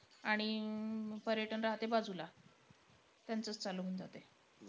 आणि अं पर्यटन राहते बाजूला. त्यांचंच चालू होऊन जाते.